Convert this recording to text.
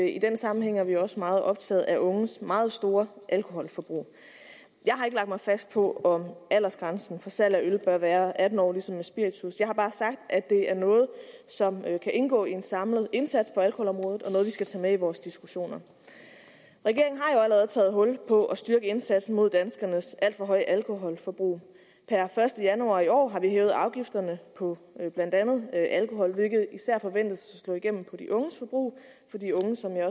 i den sammenhæng er vi også meget optaget af unges meget store alkoholforbrug jeg har ikke lagt mig fast på om aldersgrænsen for salg af øl bør være atten år ligesom for spiritus jeg har bare sagt at det er noget som kan indgå i en samlet indsats på alkoholområdet og noget vi skal tage med i vores diskussioner regeringen har jo allerede taget hul på at styrke indsatsen mod danskernes alt for høje alkoholforbrug per første januar i år har vi hævet afgifterne på blandt andet alkohol hvilket især forventes at slå igennem på de unges forbrug for de unge som jeg